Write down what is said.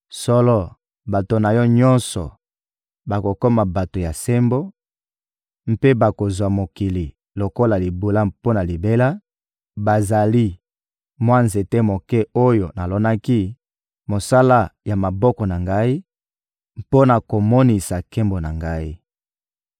Solo, bato na yo nyonso bakokoma bato ya sembo mpe bakozwa mokili lokola libula mpo na libela; bazali mwa nzete moke oyo nalonaki, mosala ya maboko na Ngai, mpo na komonisa nkembo na Ngai.